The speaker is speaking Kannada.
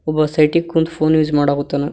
ಒಬ್ಬ ಸೈಡಿಗ್ ಕುಂತು ಫೋನ್ ಯೂಸ್ ಮಾಡಾಕತ್ತಾನ.